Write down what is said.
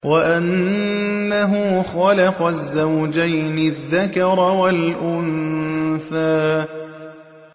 وَأَنَّهُ خَلَقَ الزَّوْجَيْنِ الذَّكَرَ وَالْأُنثَىٰ